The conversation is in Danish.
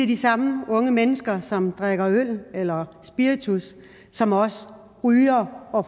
de samme unge mennesker som drikker øl eller spiritus som også ryger og